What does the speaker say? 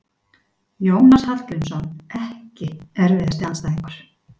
Jónas Hallgrímsson EKKI erfiðasti andstæðingur?